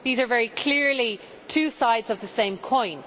These are very clearly two sides of the same coin.